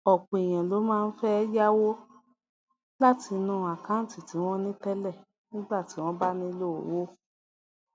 òpò èèyàn ló máa ń fé yáwó látinú àkáǹtì tí wón ní télè nígbà tí wón bá nílò owó